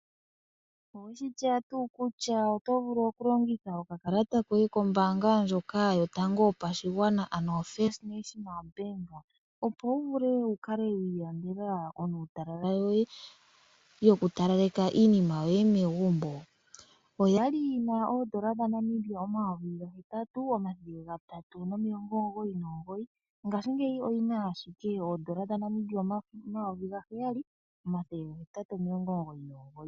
Owe shi tseya tuu kutya oto vulu okulongitha okakalata koye kombaanga ndjoka yotango yopashigwana, ano First National Bank? Opo wu vule wu kale wa ilandela oonuutalala yoye yokutalaleka iinima yoye megumbo. Oyali yi na N$8399, ngashingeyi oyi na ashike N$7899.